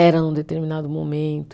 era num determinado momento.